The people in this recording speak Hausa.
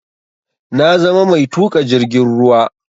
Na zama mai tuƙa jirgin ruwa